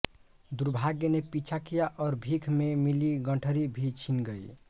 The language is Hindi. दुर्भाग्य ने पीछा किया और भीख में मिली गंठरी भी छिन गई